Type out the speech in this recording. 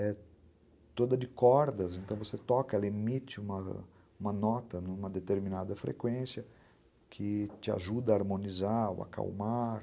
é toda de cordas, então você toca, ela emite uma uma nota numa determinada frequência que te ajuda a harmonizar ou acalmar.